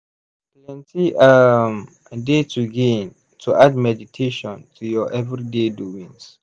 plenty um dey to gain to add meditation to ur everyday doings.